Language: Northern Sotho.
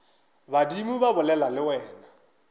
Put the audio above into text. badimo ba bolela le wena